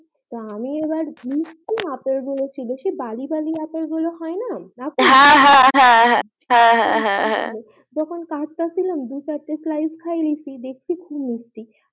তা আমি এবার মিষ্টি আপেল গুলো ছুলেছি বালি বালি আপেল গুলো হয় না হ্যা হ্যা হ্যা হ্যা হ্যা হ্যা হ্যা যখন দু চারটে slice খাইয়েছি দেখছি খুব মিষ্টি